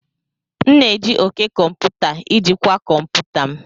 M na-eji òké komputa ijikwaa kọmputa m.